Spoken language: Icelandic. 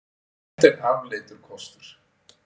Þetta er afleitur kostur.